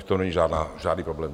V tom není žádný problém.